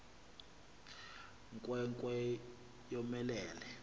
nkwe nkwe yomelele